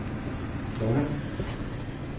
Blåvand